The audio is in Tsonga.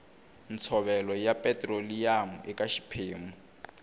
ntshovelo ya petiroliyamu eka xiphemu